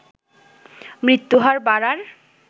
মৃত্যুহার বাড়ার